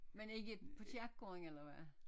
Men ikke på kirkegården eller hvad?